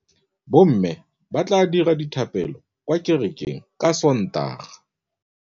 Bommê ba tla dira dithapêlô kwa kerekeng ka Sontaga.